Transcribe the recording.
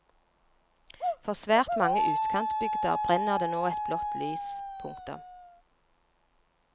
For svært mange utkantbygder brenner det nå et blått lys. punktum